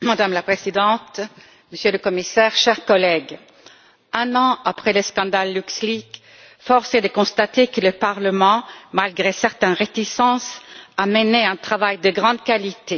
Madame la Présidente, Monsieur le Commissaire, chers collègues, un an après le scandale LuxLeaks, force est de constater que le Parlement, malgré certaines réticences, a mené un travail de grande qualité.